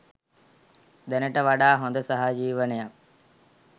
දැනට වඩා හොඳ සහජීවනයක්